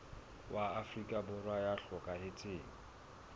wa afrika borwa ya hlokahetseng